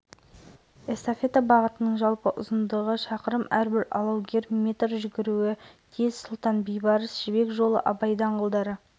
аталған байқауға қатысу үшін өтініш тіркелді байқау қорытындысы ақпанның алғашқы онкүндігінде шығарылады жүздеген сырбойылық студенттік ойындар